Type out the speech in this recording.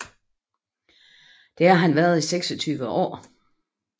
Det har han været i seksogtyve år